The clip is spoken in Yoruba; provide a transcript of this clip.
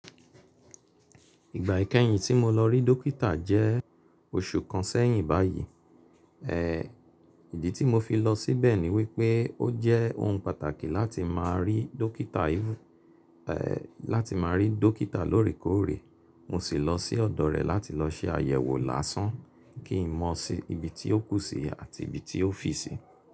Ìgbà ìkẹyìn tí mo lọ rí dókítà jẹ́ oṣù kan sẹ́yìn báyìí. Ìdí tí mo fi lọ síbẹ̀ ni wípé ó jẹ́ ohun pàtàkì láti má rí dókítà imú, láti má rí dókítà lóòrèkóòrè. Mo sì lọ sí ọ̀dọ̀ rẹ láti lọ ṣe àyẹ̀wò lásán kí n mo si ibi tí ó kù sí àti ibi tí ó fì sí.